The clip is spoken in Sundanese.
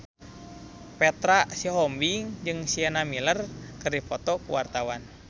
Petra Sihombing jeung Sienna Miller keur dipoto ku wartawan